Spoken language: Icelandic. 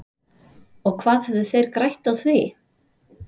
Og hvað hefðu þeir grætt á því?